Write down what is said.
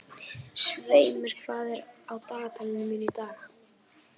Sveinmar, hvað er á dagatalinu mínu í dag?